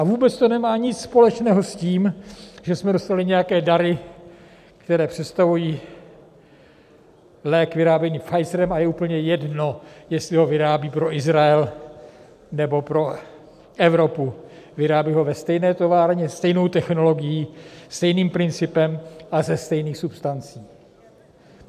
A vůbec to nemá nic společného s tím, že jsme dostali nějaké dary, které představují lék vyráběný Pfizerem, a je úplně jedno, jestli ho vyrábí pro Izrael, nebo pro Evropu, vyrábí ho ve stejné továrně, stejnou technologií, stejným principem a ze stejných substancí.